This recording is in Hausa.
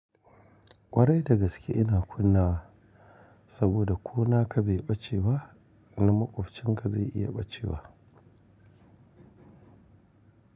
Kwarai da gaske ina kunna saboda ko naka bai bace ba na makwabcinka zai iya bace wa.